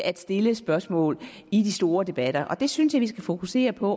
at stille spørgsmål i de store debatter og det synes jeg vi skal fokusere på